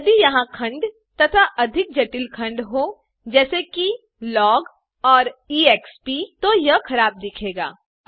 यदि यहाँ खंड तथा अधिक जटिल खंड हों जैसे कि लॉग और ईएक्सपी तो यह खराब दिखेगा